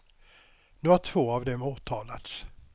Nu har två av dem åtalats.